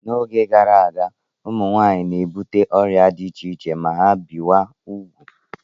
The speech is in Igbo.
N'oge gara aga, ụmụ nwaanyị na-ebute ọrịa dị iche iche ma ha bichaa ugwu.